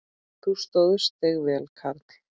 Þú stóðst þig vel, karl.